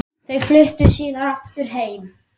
Þau fluttu síðar aftur heim.